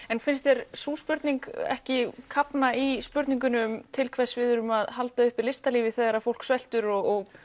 en finnst þér sú spurning ekki kafna í spurningunni til hvers við erum að halda upp listalífi þegar fólk sveltur og